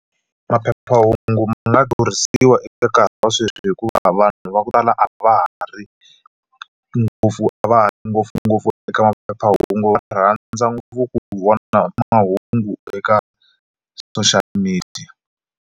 Maphephahungu ma nga eka nkarhi wa sweswi hikuva vanhu va ku tala a va ha ri ngopfungopfu eka maphephahungu va rhandza ngopfu ku vona mahungu eka social media.